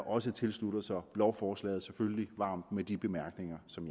også tilslutter sig lovforslaget varmt med de bemærkninger som